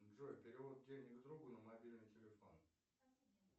джой перевод денег другу на мобильный телефон